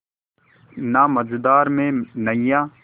ना मझधार में नैय्या